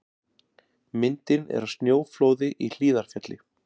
Myndin er af snjóflóði í Hlíðarfjalli.